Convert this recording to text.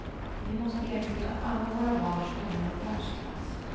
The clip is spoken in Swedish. Vi måste erbjuda alla våra barn skolor av världsklass.